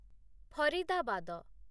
Faridabad